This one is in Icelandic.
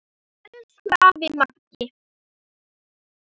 Elsku afi Maggi.